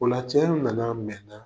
Ola cɛ in nana mɛnna